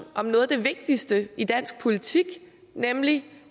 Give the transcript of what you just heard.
om noget af det vigtigste i dansk politik nemlig